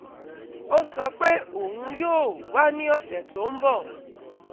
Ó sọ pé òun yóò wá ní ọ̀sẹ̀ tó ń bọ̀